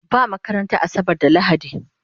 Ba makaranta asabar da lahadi